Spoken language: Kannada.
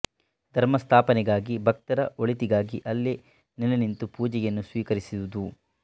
ಧರ್ಮಸ್ಥಾಪನೆಗಾಗಿ ಭಕ್ತರ ಒಳಿತಿಗಾಗಿ ಅಲ್ಲೇ ನೆಲೆ ನಿಂತು ಪೂಜೆಯನ್ನು ಸ್ವೀಕರಿಸುವುದು